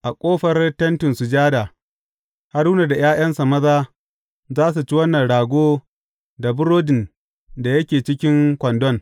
A ƙofar Tentin Sujada, Haruna da ’ya’yansa maza za su ci wannan rago da burodin da yake cikin kwandon.